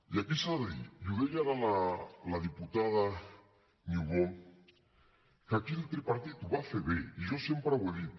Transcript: i aquí s’ha de dir i ho deia ara la diputada niubó que aquí el tripartit ho va fer bé i jo sempre ho he dit